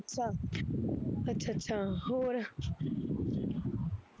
ਅੱਛਾ, ਅੱਛਾ ਅੱਛਾ ਹੋਰ,